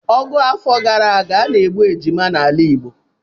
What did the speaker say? Ọgụ afọ gara aga, a na-egbu ụmụ ejima n'ala Igbo